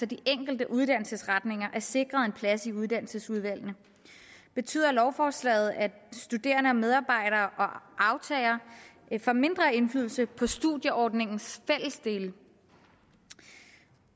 de enkelte uddannelsesretninger er sikret en plads i uddannelsesudvalgene betyder lovforslaget at studerende og medarbejdere og aftagere får mindre indflydelse på studieordningens fællesdele